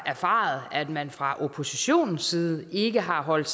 erfaret at man fra oppositionens side ikke har holdt